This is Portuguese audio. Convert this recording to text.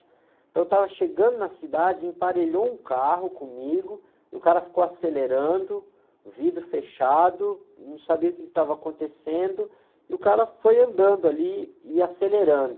Então eu estava chegando na cidade, emparelhou um carro comigo e o cara ficou acelerando, vidro fechado, não sabia o que estava acontecendo e o cara foi andando ali e acelerando.